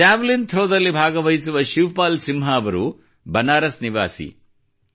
javelin throw ದಲ್ಲಿ ಭಾಗವಹಿಸುವ ಶಿವಪಾಲ್ ಸಿಂಹ ಻ವರು ಬನಾರಸ್ ನಿವಾಸಿಯಾಗಿದ್ದಾರೆ